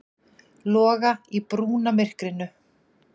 Loga í brúnamyrkrinu.